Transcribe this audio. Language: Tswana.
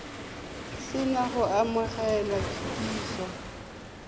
se na go amogela kitsiso